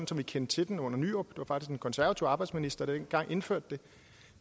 som vi kendte til den under nyrup og det var en konservativ arbejdsminister der dengang indførte det